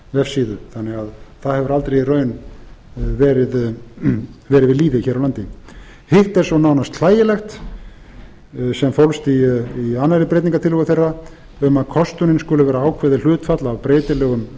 vefsíðu þannig að það hefur aldrei í raun verið við lýði hér á landi hitt er svo nánast hlægilegt sem fólst í aðra breytingartillögu þeirra um að kostunin skuli vera ákveðið hlutfall af breytilegum